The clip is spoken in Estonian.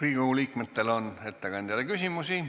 Riigikogu liikmetel on ettekandjale küsimusi.